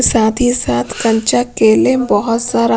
साथ ही साथ कंचा केले बहुत सारा--